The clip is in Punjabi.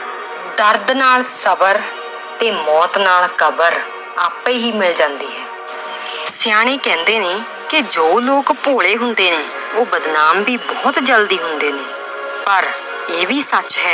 ਦਰਦ ਨਾਲ ਸ਼ਬਰ ਤੇ ਮੌਤ ਨਾਲ ਕਬਰ ਆਪੇ ਹੀ ਮਿਲ ਜਾਂਦੀ ਹੈ ਸਿਆਣੇੇ ਕਹਿੰਦੇ ਨੇ ਕਿ ਜੋ ਲੋਕ ਭੋਲੇ ਹੁੰਦੇ ਨੇ ਉਹ ਬਦਨਾਮ ਵੀ ਬਹੁਤ ਜ਼ਲਦੀ ਹੁੰਦੇ ਨੇ ਪਰ ਇਹ ਵੀ ਸੱਚ ਹੈ